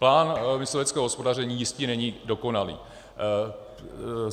Plán mysliveckého hospodaření jistě není dokonalý.